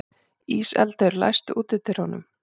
Íseldur, læstu útidyrunum.